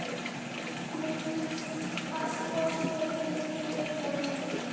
Mundu að þvo þér inni í eyrunum.